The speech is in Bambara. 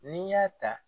N'i y'a ta